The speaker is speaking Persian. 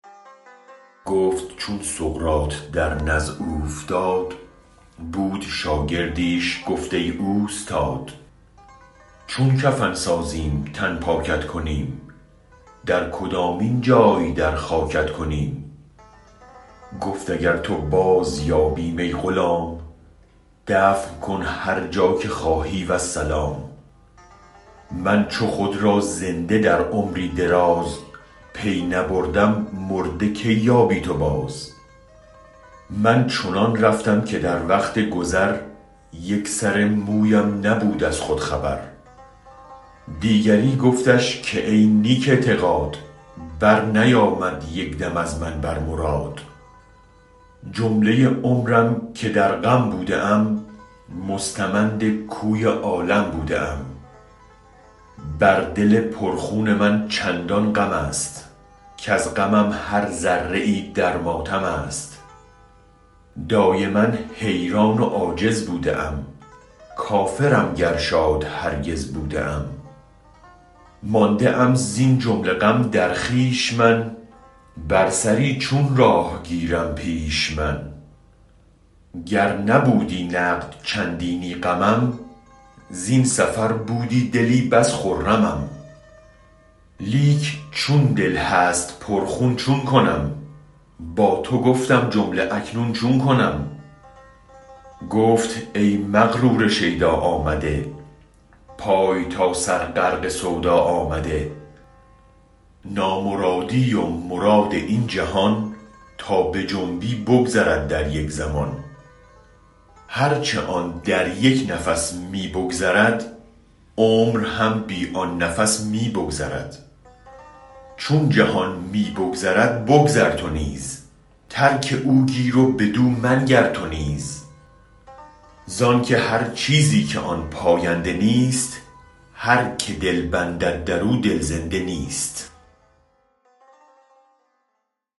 گفت چون سقراط در نزع اوفتاد بود شاگردیش گفت ای اوستاد چون کفن سازیم تن پاکت کنیم در کدامین جای در خاکت کنیم گفت اگر تو باز یابیم ای غلام دفن کن هر جا که خواهی والسلام من چو خود را زنده در عمری دراز پی نبردم مرده کی یابی تو باز من چنان رفتم که در وقت گذر یک سری مویم نبود از خود خبر دیگری گفتش که ای نیک اعتقاد برنیامد یک دم از من بر مراد جمله عمرم که در غم بوده ام مستمند کوی عالم بوده ام بر دل پر خون من چندان غمست کز غمم هر ذره ای در ماتم است دایما حیران و عاجز بوده ام کافرم گر شاد هرگز بوده ام مانده ام زین جمله غم در خویش من بر سری چون راه گیرم پیش من گر نبودی نقد چندینی غمم زین سفر بودی دلی بس خرمم لیک چون دل هست پر خون چون کنم با تو گفتم جمله اکنون چون کنم گفت ای مغرور شیدا آمده پای تا سر غرق سودا آمده نامرادی و مراد این جهان تابجنبی بگذرد در یک زمان هرچ آن در یک نفس می بگذرد عمر هم بی آن نفس می بگذرد چون جهان می بگذرد بگذر تو نیز ترک او گیر و بدو منگر تو نیز زانک هر چیزی که آن پاینده نیست هرک دلبندد درو دل زنده نیست